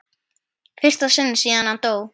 fyrsta sinn síðan hann dó.